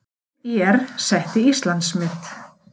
Sveit ÍR setti Íslandsmet